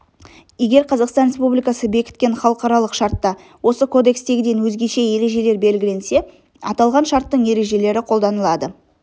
егер қазақстан республикасы бекіткен халықаралық шартта осы кодекстегіден өзгеше ережелер белгіленсе аталған шарттың ережелері қолданылады